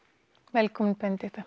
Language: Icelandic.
velkomin Benedikta